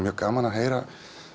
gaman að heyra